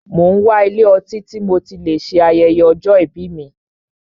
Mo n wá ilé ọtí tí mo tí lè ṣe ayẹyẹ ọjọ́ ìbí mí.